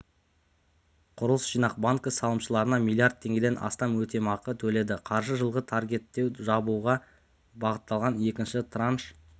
құрылыс жинақ банкі салымшыларына млрд теңгеден астамөтемақы төледі қаржы жылғы таргеттеуді жабуға бағытталған екінші транш